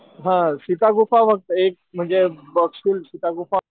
हा सीता गुफा बघता येईल म्हणजे बघशील सीता गुफा,